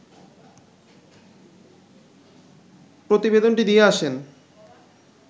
প্রতিবেদনটি দিয়ে আসেন